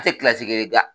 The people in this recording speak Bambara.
A tɛ kelen da